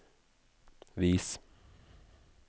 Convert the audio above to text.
vis